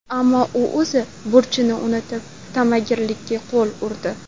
Ammo u o‘z burchini unutib, ta’magirlikka qo‘l urdi .